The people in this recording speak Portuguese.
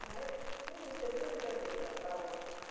Mas é isso, é tudo que eu tenho para falar.